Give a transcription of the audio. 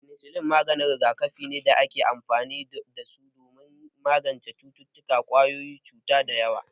Fenisillin maganin rigakafi ne da ake amfani da su don magance cututtukan ƙwayoyin cuta da yawa